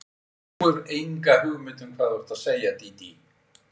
Þú hefur enga hugmynd um hvað þú ert að segja, Dídí.